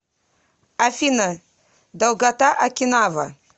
афина долгота окинава